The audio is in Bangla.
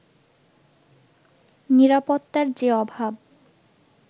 নিরাপত্তার যে অভাব